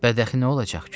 Bədəxi nə olacaq ki?